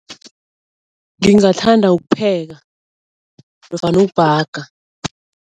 Ngingathanda ukupheka nofana ukubhaga.